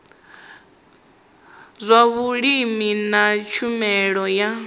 zwa vhulimi na tshumelo ya